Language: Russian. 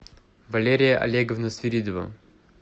валерия олеговна свиридова